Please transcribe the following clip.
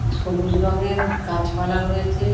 সবুজ রঙের গাছপালা রয়েছে।